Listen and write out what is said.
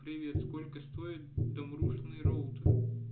привет сколько стоит домрушный роутер